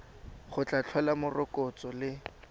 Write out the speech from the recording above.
go tla tlhola morokotso le